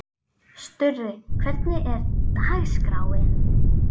Sturri, hvernig er dagskráin?